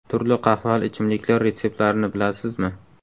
Turli qahvali ichimliklar retseptlarini bilasizmi?.